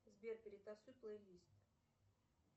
сбер перетасуй плейлист